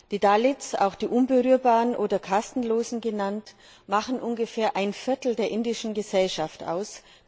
Die Dalits, auch die Unberührbaren oder Kastenlosen genannt, machen ungefähr ein Viertel der indischen Gesellschaft aus.